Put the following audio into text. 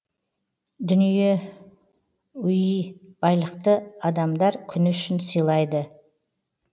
дүние уи байлықты адамдар күні үшін сыйлайды